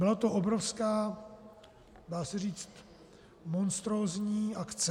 Byla to obrovská - dá se říct monstrózní - akce.